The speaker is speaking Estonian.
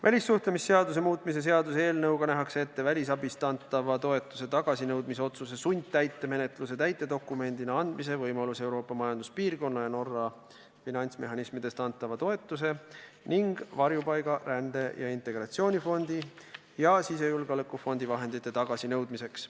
Välissuhtlemisseaduse muutmise seaduse eelnõuga nähakse ette välisabist antava toetuse tagasinõudmise otsuse sundtäitemenetlusse andmise võimalus Euroopa Majanduspiirkonna ja Norra finantsmehhanismidest antud toetuse ning Varjupaiga-, Rände- ja Integratsioonifondi ja Sisejulgeolekufondi vahendite tagasinõudmiseks.